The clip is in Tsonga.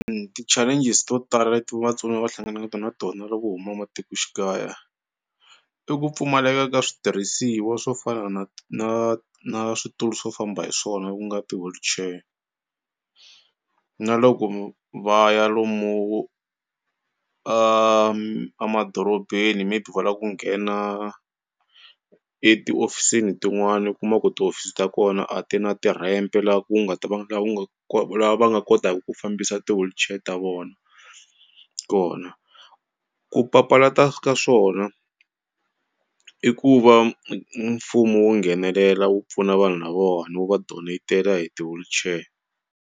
Ti-challenges to tala leti vatsoniwa va hlanganaka na tona loko huma matikoxikaya i ku pfumaleka ka switirhisiwa swo fana na na na switulu swo famba hi swona ku nga ti-wheelchair na loko va ya lomu a madorobeni maybe va lava ku nghena etihofisini tin'wani u kuma ku tihofisi ta kona a ti na ti-ramp la ku nga ta va la va nga kotaku ku fambisa ti-wheelchair ta vona kona ku papalata ka swona i ku va mfumo wu nghenelela wu pfuna vanhu lavawani wu va donetela hi ti-wheelchair.